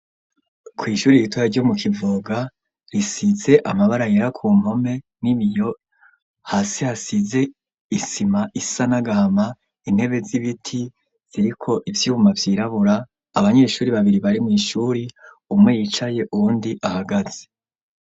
kw’ishuri ritoya ryo mu Kivoga, risize amabara yera ku mpome n'ibiyo hasi hasize isima isa n' agahama intebe z'ibiti ziriko ivyuma vyirabura, abanyeshuri babiri bari mu ishuri umwe yicaye uwundi ahagaze.